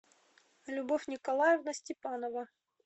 любовь николаевна степанова